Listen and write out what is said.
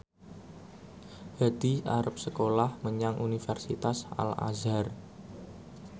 Hadi arep sekolah menyang Universitas Al Azhar